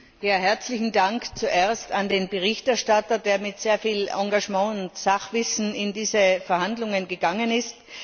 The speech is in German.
Frau Präsidentin! Herzlichen Dank zuerst an den Berichterstatter, der mit sehr viel Engagement und Sachwissen in diese Verhandlungen gegangen ist.